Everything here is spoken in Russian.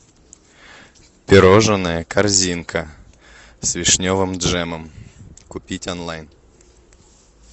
пирожное корзинка с вишневым джемом купить онлайн